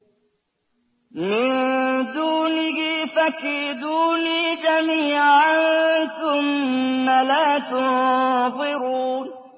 مِن دُونِهِ ۖ فَكِيدُونِي جَمِيعًا ثُمَّ لَا تُنظِرُونِ